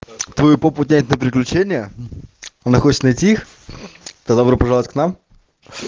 твою попу тянет на приключения она хочет найти их тогда добро пожаловать к нам